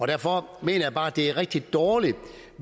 derfor mener jeg bare det er rigtig dårligt